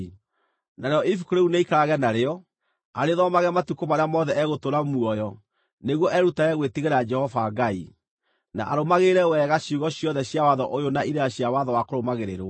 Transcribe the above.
Narĩo ibuku rĩu nĩaikarage narĩo, arĩthomage matukũ marĩa mothe egũtũũra muoyo nĩguo erutage gwĩtigĩra Jehova Ngai, na arũmagĩrĩre wega ciugo ciothe cia watho ũyũ na irĩra cia watho wa kũrũmagĩrĩrwo,